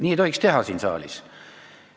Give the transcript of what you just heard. Nii ei tohiks siin saalis teha.